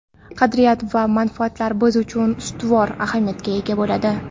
qadriyat va manfaatlar biz uchun ustuvor ahamiyatga ega bo‘ladi?.